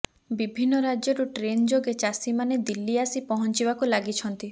ବିଭିନ୍ନ ରାଜ୍ୟରୁ ଟ୍ରେନ୍ ଯୋଗ ଚାଷୀମାନେ ଦିଲ୍ଲୀ ଆସି ପହଞ୍ଚିବାକୁ ଲାଗିଛନ୍ତି